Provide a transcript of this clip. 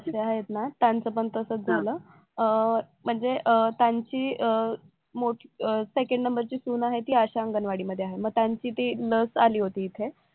आहेत ना त्यांचं पण तसंच झालं अं म्हणजे अं त्यांची अं second number ची सून आहे ती आशा अंगणवाडी मध्ये आहे मग त्यांची ते लस आली होती इथे